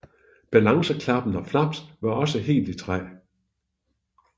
Balanceklapper og flaps var også helt i træ